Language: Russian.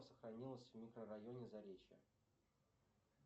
сохранилось в микрорайоне заречье